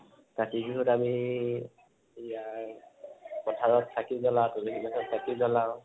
কাতি বিহুত আমি ই এয়াৰ পথাৰত চাকি জলাও, তুলসী গছত চাকি জলাও